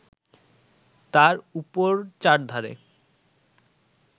তার উপর চারধারে